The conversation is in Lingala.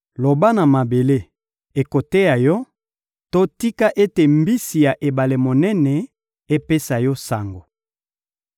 loba na mabele, ekoteya yo; to tika ete mbisi ya ebale monene epesa yo sango.